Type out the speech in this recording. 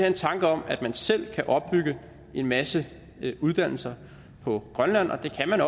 en tanke om at man selv kan opbygge en masse uddannelser på grønland og det kan man